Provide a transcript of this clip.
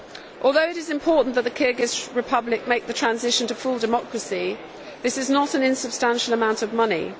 Although it is important that the Kyrgyz Republic make the transition to full democracy, this is not an insubstantial amount of money.